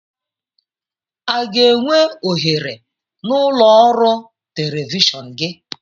Aga enwe ohere n'ụlọ ọrụ telivishọn gị?